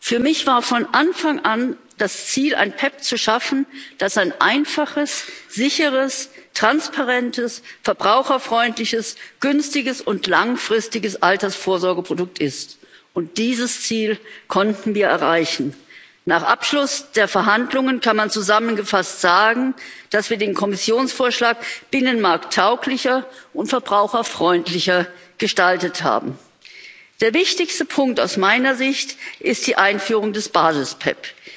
Für mich war von Anfang an das Ziel, ein PEPP zu schaffen, das ein einfaches, sicheres, transparentes, verbraucherfreundliches, günstiges und langfristiges Altersvorsorgeprodukt ist, und dieses Ziel konnten wir erreichen. Nach Abschluss der Verhandlungen kann man zusammengefasst sagen, dass wir den Kommissionsvorschlag binnenmarkttauglicher und verbraucherfreundlicher gestaltet haben. Der wichtigste Punkt aus meiner Sicht ist die Einführung des Basis PEPP.